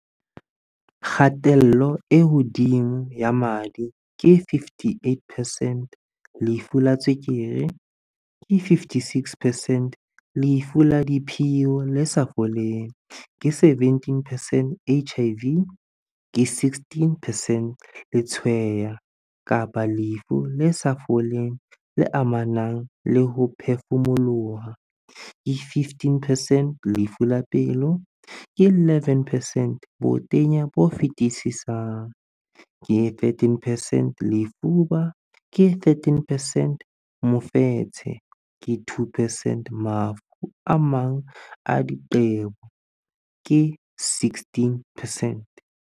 Kgatello e hodimo ya madi, ke 58 percent Lefu la tswekere, ke 56 percent Lefu la diphio le sa foleng, ke 17 percent HIV, ke 16 percent Letshweya kapa lefu le sa foleng le amanang le ho phefumoloha, ke 15percent Lefu la pelo, ke 11 percent Botenya bo fetisisang, ke 13 percent Lefuba, ke 13 percent Mofetshe, ke 2 percent Mafu a mang a diqebo, ke 16 percent.